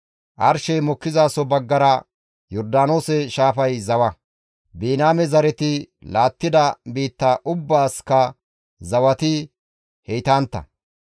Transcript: Arshey mokkizaso baggara Yordaanoose shaafay zawa. Biniyaame zareti laattida biitta ubbaasikka zawati heytantta.